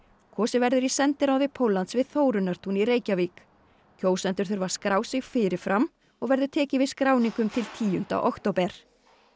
kosið verður í sendiráði Póllands við í Reykjavík kjósendur þurfa að skrá sig fyrir fram og verður tekið við skráningum til tíunda október